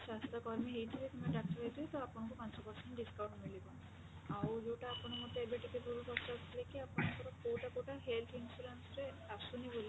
ସ୍ବାସ୍ଥ୍ୟକର୍ମୀ ହେଇଥିବେ କିମ୍ବା ଡାକ୍ତର ହେଇଥିବେ ତ ଆପଣଙ୍କୁ ପାଞ୍ଚ percent discount ମିଳିବ ଆଉ ଯୋଉଟା ଆପଣ ମତେ ଏବେ ଟିକେ ପୂର୍ବରୁ ପଚାରୁଥିଲେ କି ଆପଣଙ୍କର କୋଉଟା କୋଉଟା health insurance ରେ ଆସୁନି ବୋଲି